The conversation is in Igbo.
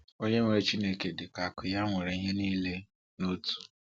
Onye nwere Chineke dịka akụ ya nwere ihe niile n’Otu.